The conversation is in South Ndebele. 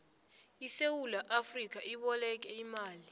isewula afrika iboleke imali